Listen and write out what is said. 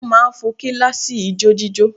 Wọ́n máà ń fo kíláàsì ijójíjó